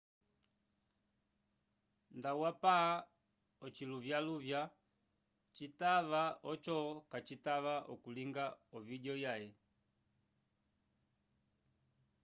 nda wapa ociluvyaluvya kcitava oco kacitava okulinga ovideo yaye